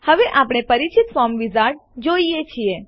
હવે આપણે પરિચિત ફોર્મ વિઝાર્ડ જોઈએ છીએ